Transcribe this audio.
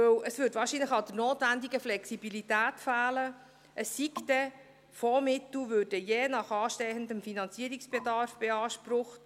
Denn es fehlte wahrscheinlich an der notwendigen Flexibilität, es sei denn, Fondsmittel würden je nach anstehendem Finanzierungsbedarf beansprucht.